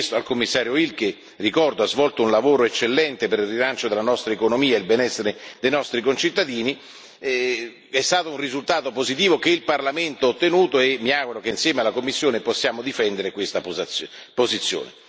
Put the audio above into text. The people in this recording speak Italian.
Abbiamo chiesto al Commissario Hill che, ricordo, ha svolto un lavoro eccellente per il rilancio della nostra economia e il benessere dei nostri concittadini è stato un risultato positivo che il Parlamento ha ottenuto e mi auguro che, insieme alla Commissione, possiamo difendere questa posizione.